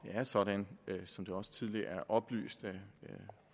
er sådan som det også tidligere oplyst af